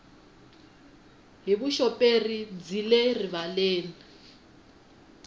hi vuxoperi byi le rivaleni